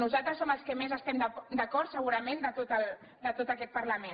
nosaltres som els que més hi estem d’acord segurament de tot aquest parlament